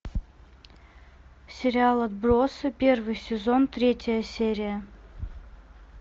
сериал отбросы первый сезон третья серия